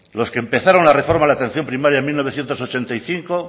los que empezaron la reforma en la atención primaria en mil novecientos ochenta y cinco